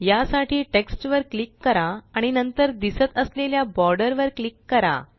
यासाठी टेक्स्ट वर क्लिक करा आणि नंतर दिसत असलेल्या बॉर्डर वर क्लिक करा